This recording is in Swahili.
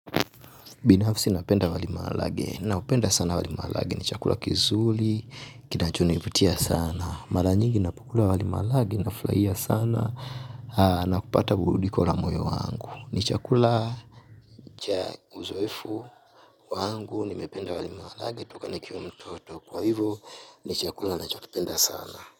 Binafsi napenda wali maharage naupenda sana wali maharage ni chakula kizuri kinachonivutia sana. Mara nyingi ninapokula wali maharage ninafurahia sana na kupata burudiko la moyo wangu ni chakula. Uzoefu wangu nimependa wali maharage toka nikiwa mtoto kwa hivyo ni chakula ninachokipenda sana.